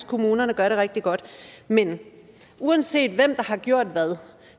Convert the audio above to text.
kommunerne gør det rigtig godt men uanset hvem der har gjort hvad